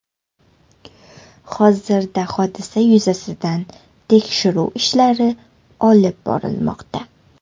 Hozirda hodisa yuzasidan tekshiruv ishlari olib borilmoqda.